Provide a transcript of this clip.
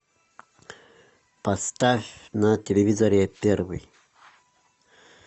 поставь на телевизоре первый